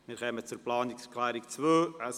Wir kommen zur Planungserklärung Nr. 2